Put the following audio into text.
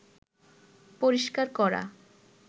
পরিষ্কার করা